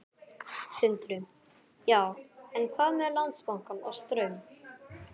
Sindri: Já, en hvað með Landsbankann og Straum?